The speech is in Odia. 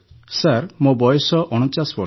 ସାର୍ ମୋ ବୟସ ୪୯ ବର୍ଷ